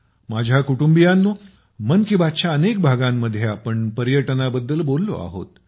माझ्या कुटुंबियांनो मन की बातच्या अनेक भागांमध्ये आपण पर्यटनाबद्दल बोललो आहोत